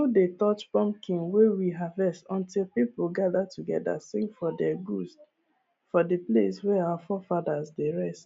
we no dey touch pumpkin wey we harvest until people gather together sing for di goods for the place wey our forefathers dey rest